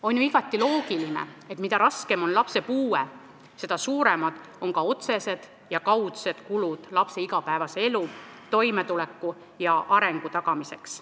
On ju igati loogiline, et mida raskem on lapse puue, seda suuremad on ka otsesed ja kaudsed kulud lapse igapäevases elus toimetuleku ja tema arengu tagamiseks.